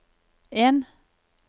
en